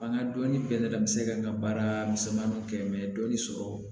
An ka dɔnni bɛɛ nana n bɛ se ka n ka baara misɛnninw kɛ dɔɔni sɔrɔ